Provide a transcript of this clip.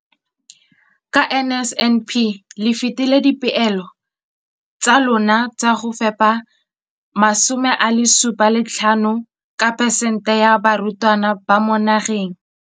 Ka NSNP le fetile dipeelo tsa lona tsa go fepa masome a supa le botlhano a diperesente ya barutwana ba mo nageng.